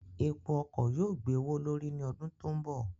Epo ọkọ̀ yóò gbé owó l'órí ní ọdún tó ń bọ̀.